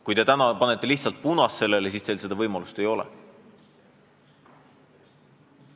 Kui te täna lihtsalt näitate eelnõule punast tuld, siis teil seda võimalust ei ole.